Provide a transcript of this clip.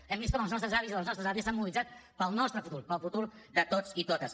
hem vist com els nostres avis i les nostres àvies s’han mobilitzat pel nostre futur pel futur de tots i totes